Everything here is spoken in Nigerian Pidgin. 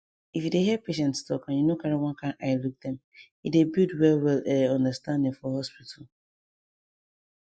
if you dey hear patients talk and you no carry one kind eye look dem e dey build well well eh understanding for hospital